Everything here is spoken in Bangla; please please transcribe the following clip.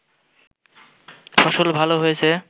ফসল ভাল হয়েছে